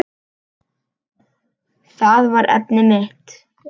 Það var efnið mitt.